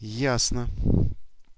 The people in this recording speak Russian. ясно